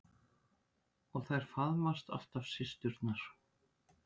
Og þær faðmast alltaf systurnar.